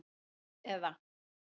net eða.